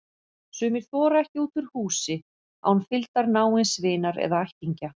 Sumir þora ekki út úr húsi án fylgdar náins vinar eða ættingja.